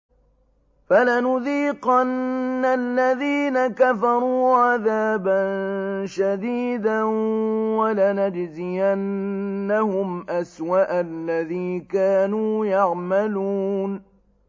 فَلَنُذِيقَنَّ الَّذِينَ كَفَرُوا عَذَابًا شَدِيدًا وَلَنَجْزِيَنَّهُمْ أَسْوَأَ الَّذِي كَانُوا يَعْمَلُونَ